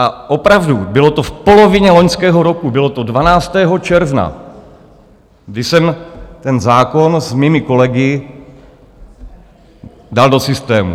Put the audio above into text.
A opravdu, bylo to v polovině loňského roku, bylo to 12. června, kdy jsem ten zákon s mými kolegy dal do systému.